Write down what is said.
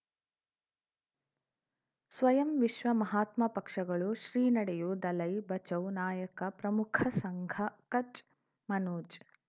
ಸ್ವಯಂ ವಿಶ್ವ ಮಹಾತ್ಮ ಪಕ್ಷಗಳು ಶ್ರೀ ನಡೆಯೂ ದಲೈ ಬಚೌ ನಾಯಕ ಪ್ರಮುಖ ಸಂಘ ಕಚ್ ಮನೋಜ್